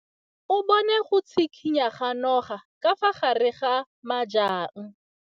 O bone go tshikinya ga noga ka fa gare ga majang.